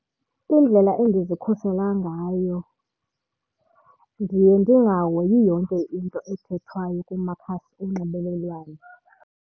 Indlela endizikhusela ngayo ndiye ndingahoyi yonke into ethethwayo kumakhasi onxibelelwano.